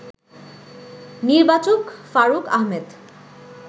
নির্বাচক ফারুক আহমেদ